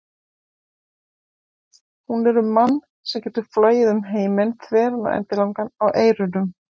Hún er um mann sem getur flogið um heiminn þveran og endilangan á eyrunum.